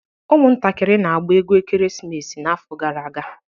Ụmụntakịrị na-agba egwu ekeresimesi n'afọ gara aga